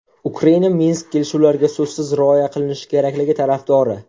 Ukraina Minsk kelishuvlariga so‘zsiz rioya qilinishi kerakligi tarafdori.